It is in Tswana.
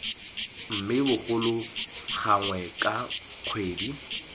mme bogolo gangwe ka kgwedi